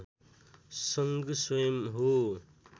सङ्घ स्वयम् हो